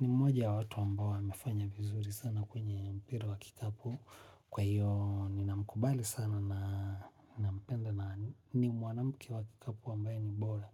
Ni moja wawatu ambao wa mefanya vizuri sana kwenye mpira wakikapu. Kwa hiyo ni na mkubali sana na mpenda na nimwanamke wa kikapu ambaye ni bora.